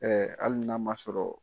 Ɛɛ hali n'a m'a sɔrɔ